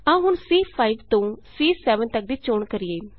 ਆਉ ਹੁਣ ਸੀ5 ਤੋਂ ਸੀ7 ਤਕ ਦੀ ਚੋਣ ਕਰੀਏ